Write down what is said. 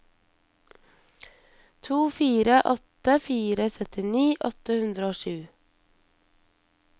to fire åtte fire syttini åtte hundre og sju